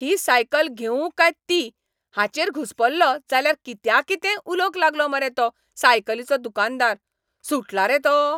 ही cycle घेवूं काय ती हाचेर घुस्पलों जाल्यार कित्याकितेंय उलोवंक लागलो मरे तो सायकलीचो दुकानदार! सुटला रे तो?